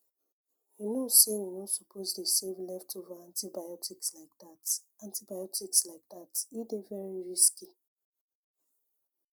you know say you no suppose dey save leftover antibiotics like that antibiotics like that e dey very risky